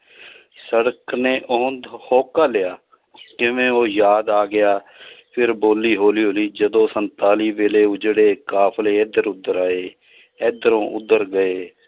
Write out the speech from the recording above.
ਸੜਕ ਨੇ ਹੋਂਕਾ ਲਿਆ ਉਹ ਯਾਦ ਆ ਗਿਆ ਫਿਰ ਬੋਲੀ ਹੌਲੀ ਹੌਲੀ ਜਦੋਂ ਸੰਤਾਲੀ ਵੇਲੇ ਉਜੜੇ ਕਾਫ਼ਲੇ ਇੱਧਰ ਉੱਧਰ ਆਏ, ਇੱਧਰੋਂ ਉੱਧਰ ਗਏ